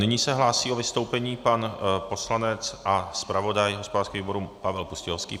Nyní se hlásí o vystoupení pan poslanec a zpravodaj hospodářského výboru Pavel Pustějovský.